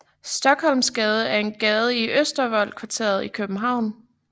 Stockholmsgade er en gade i Østervold kvarteret i København